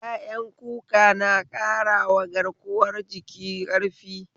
Ƴaƴan kuka na ƙarawa garkuwa jiki ƙarfi?